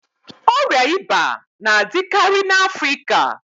Ọria íbà na-adịkarị n'afrịka